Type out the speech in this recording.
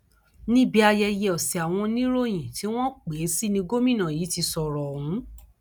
níbi ayẹyẹ ọsẹ àwọn oníròyìn tí wọn pè é sí ní gómìnà yìí ti sọrọ ọhún